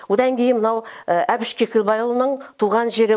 одан кейін мынау әбіш кекілбайұлының туған жері